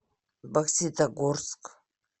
бокситогорск